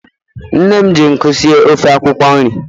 Nne m ji nkụ sie ofe akwukwo nri